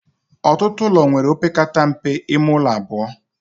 Ọtụtụ ụlọ nwere opekata mpe ime ụlọ abụọ